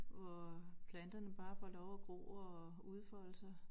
Hvor planterne bare får lov at gro og udfolde sig